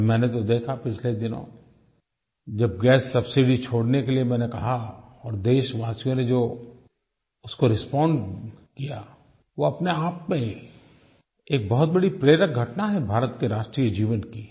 और मैंने तो देखा पिछले दिनों जब गैस सबसिडी छोड़ने के लिए मैंने कहा और देशवासियों ने जो उसको रिस्पोंड किया वो अपनेआप में ही एक बहुत बड़ी प्रेरक घटना है भारत के राष्ट्रीय जीवन की